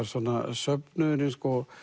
söfnuðurinn